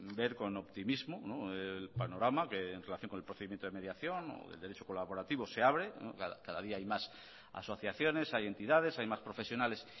ver con optimismo el panorama que en relación con el procedimiento de mediación o del derecho colaborativo se abre cada día hay más asociaciones hay entidades hay más profesionales